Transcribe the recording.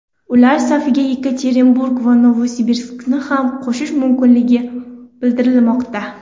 Ular safiga Yekaterinburg va Novosibirskni ham qo‘shish mumkinligi bildirilmoqda.